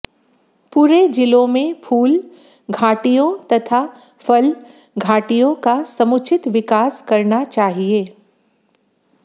पूरे जिलों में फूल घाटियों तथा फल घाटियों का समुचित विकास करना चाहिए